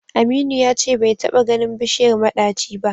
Aminu ya ce bai taɓa ganin bishiyar maɗaci ba da.